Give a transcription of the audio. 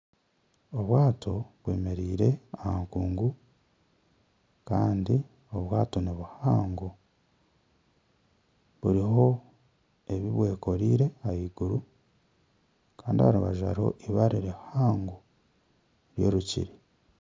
Obwaato bwemereire aha nkungu Kandi obwaato nibuhango buriho ebibwekoreire ahiguru Kandi aharubaju hariho ibaare rihango ry'orukiri.